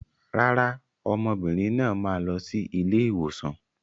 Rárá, ọmọbìnrin náà máa lọ sí ilé ìwòsàn.